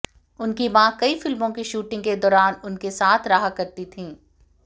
उनकी मां कई फिल्मों की शूटिंग के दौरान उनके साथ रहा करती थीं